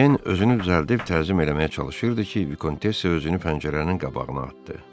Ejen özünü düzəldib təzim eləməyə çalışırdı ki, Vikontessya özünü pəncərənin qabağına atdı.